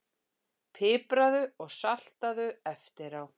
Pipraðu og saltaðu eftir á.